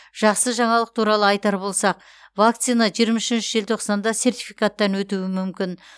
жақсы жаңалық туралы айтар болсақ вакцина жиырма үшінші желтоқсанда сертификаттан өтуі мүмкін